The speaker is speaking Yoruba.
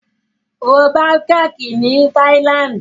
Wo Bangkok ní Thailand.